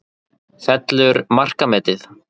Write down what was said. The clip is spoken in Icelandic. Fellur markametið?